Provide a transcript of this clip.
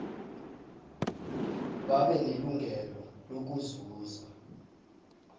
babe nelungelo lokuzuza